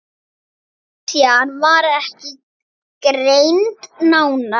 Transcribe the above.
Klisjan var ekki greind nánar.